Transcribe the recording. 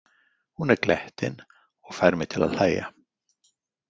Hún er glettin og fær mig til að hlæja.